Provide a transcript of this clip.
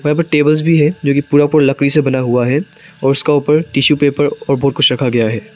यहां पर टेबल्स भी हैं जो कि पूरा पूरा लकड़ी से बना हुआ है और उसका ऊपर टिशू पेपर और बहुत कुछ रखा गया है।